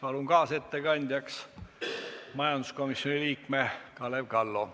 Palun kaasettekandjaks majanduskomisjoni liikme Kalev Kallo.